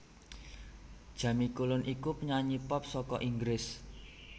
Jamie Cullum iku penyanyi pop saka Inggris